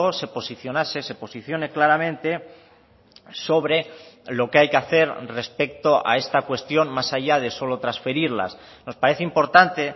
se posicionase se posicione claramente sobre lo que hay que hacer respecto a esta cuestión más allá de solo transferirlas nos parece importante